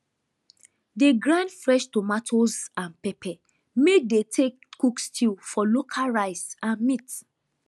dey grind fresh tomatoes and pepper may dey take cook stew for local rice and meat